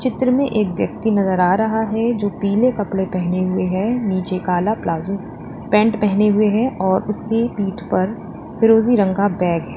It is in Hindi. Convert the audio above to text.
पिक्चर में एक व्यक्ति नजर आ रहा है जो पीले कपड़े पहने हुए है नीचे काला प्लाजो पैंट पहने हुए है और उसकी पीठ पर फिरोजी रंग का बैग है।